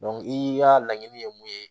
i ka laɲini ye mun ye